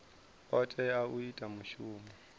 o tea u ita mushumo